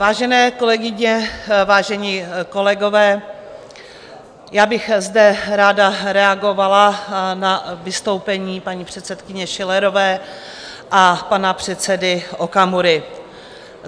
Vážené kolegyně, vážení kolegové, já bych zde ráda reagovala na vystoupení paní předsedkyně Schillerové a pana předsedy Okamury.